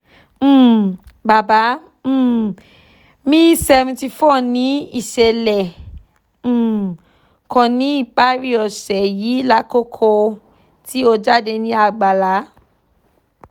um baba um mi seventy four ni iṣẹlẹ um kan ni ipari ose yii lakoko ti o jade ni àgbàlá